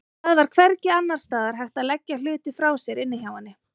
Það var hvergi annars staðar hægt að leggja hluti frá sér inni hjá henni.